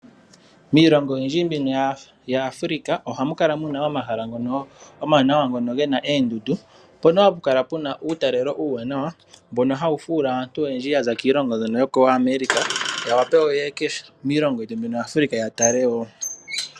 Miilongo oyindji mbyono yaAfrica, ohamu kala muna omahala ngono omawanawa, ngono ge na oondundu mpono hapu kala pu na uutalelo uuwanawa, mbono ha wu fuula aantu oyendji ya za koAmerica ya wape ye ye miilongo yetu yaAfrica ya tale wo.